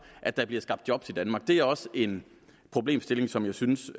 at der bliver skabt job i danmark det er også en problemstilling som jeg synes